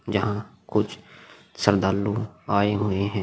जहाँ कुछ श्रद्धालु आए हुए हैं।